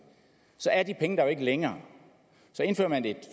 så er de penge der jo ikke længere så indfører man et